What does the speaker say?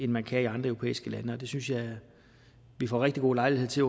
man kan i andre europæiske lande og det synes jeg vi får rigtig god lejlighed til